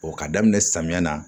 O ka daminɛ samiya na